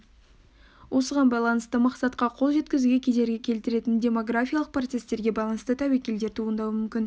осыған байланысты мақсатқа қол жеткізуге кедергі келтіретін демографиялық процестерге байланысты тәуекелдер туындауы мүмкін